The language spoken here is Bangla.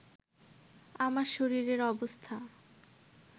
আমার শরীরের অবস্থা